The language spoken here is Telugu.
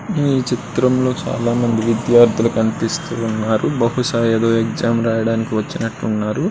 ఈ చిత్రంలో చాలామంది విద్యార్థులు కనిపిస్తున్నారు బహుశా ఏదో ఎగ్జామ్ రాయడానికి వచ్చినట్టున్నారు.